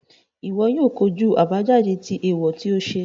Iwọ o kojú àbájáde tí eewọ ti o ṣe